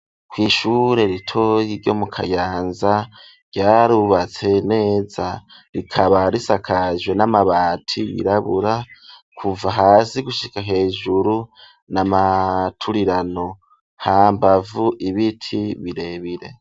kw'ishure ritoyi ryo mu Kayanza ryarubatse neza rikaba risakajwe n'amabati yirabura kuva hasi gushika hejuru n'amaturirano hambavu ibiti birebire.